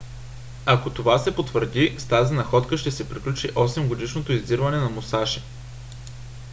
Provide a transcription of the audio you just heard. ако това се потвърди с тази находка ще се приключи осемгодишното издирване на мусаши